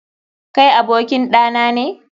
Kai abokin ɗa nane?